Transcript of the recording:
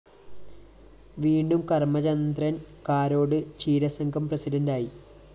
വീണ്ടും കര്‍മ്മചന്ദ്രന്‍ കാരോട് ക്ഷീരസംഘം പ്രസിഡന്റായി